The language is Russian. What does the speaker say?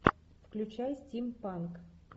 включай стимпанк